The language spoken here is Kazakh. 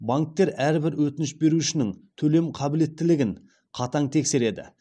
банктер әрбір өтініш берушінің төлем қабілеттілігін қатаң тексереді